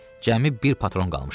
Cəmi bir patron qalmışdı.